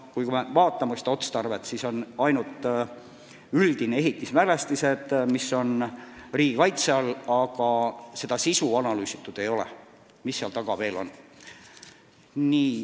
Kui me vaatame seda otstarvet, siis kirjas on ainult ehitismälestised, mis on riigi kaitse all, aga sisu selgitatud ei ole, mis seal taga veel on.